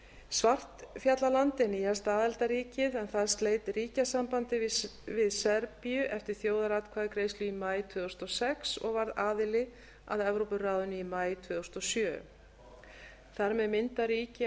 svartfjallaland er nýjasta aðildarríkið en það sleit ríkjasambandi við serbíu eftir þjóðaratkvæðagreiðslu í maí tvö þúsund og sex og varð aðili að evrópuráðinu í maí tvö þúsund og sjö þar með mynda ríki